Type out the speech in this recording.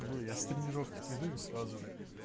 ну я с тренировки приду и сразу же